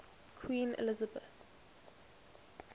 queen elizabeth